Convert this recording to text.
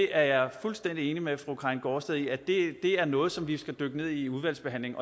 er fuldstændig enig med fru karin gaardsted i at det er noget som vi skal dykke ned i i udvalgsbehandlingen